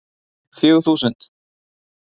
Fjögur þúsund